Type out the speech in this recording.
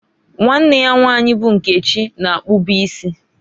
Nwanne ya nwanyi bụ Nkechi na-akpụbụ isi.